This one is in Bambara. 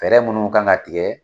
Fɛɛrɛ minnu kan ka tigɛ